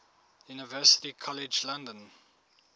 university college london